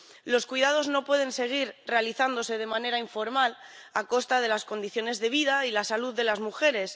Los cuidados no pueden seguir realizándose de manera informal a costa de las condiciones de vida y la salud de las mujeres.